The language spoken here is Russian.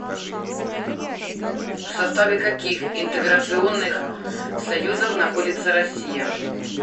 в составе каких интеграционных союзов находится россия